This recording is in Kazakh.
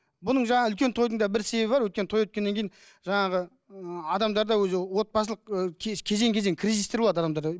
бұның жаңағы үлкен тойдың да бір себебі бар өйткеннен той өткеннен кейін жаңағы ыыы адамдарда өзі отбасылық кезең кезең кризистер болады адамдарда